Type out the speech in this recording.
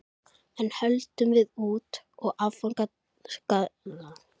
Enn höldum við út, og áfangastaðurinn er Hótel Saga.